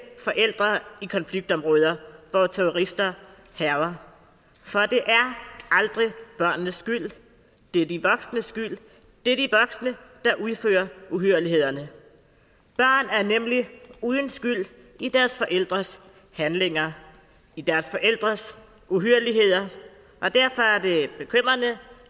forældre i konfliktområder hvor terrorister hærger for det er aldrig børnenes skyld det er de voksnes skyld det er de voksne der udfører uhyrlighederne børn er nemlig uden skyld i deres forældres handlinger i deres forældres uhyrligheder og derfor er det bekymrende